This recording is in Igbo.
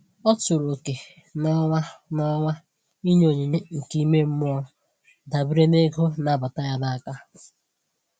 Ọ tụrụ oke n'ọnwa n'ọnwa ịnye onyinye nke ime mmụọ dabere na ego na-abata ya n'aka.